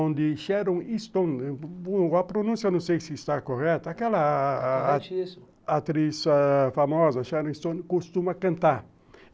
onde Sharon Stone, a pronúncia não sei se está correta, aquela atriz famosa, Sharon Stone, costuma cantar.